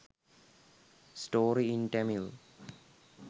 story in tamil